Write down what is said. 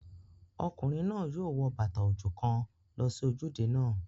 Ọkùnrin náà yóò wo bàtà òjò kan lọ sí ojúde náà